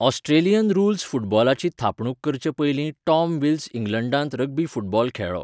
Australian rules फुटबॉलाची थापणूक करचे पयलीं टॉम विल्स इंग्लंडांत रग्बी फुटबॉल खेळ्ळो.